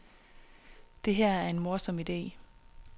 Det her er en morsom ide.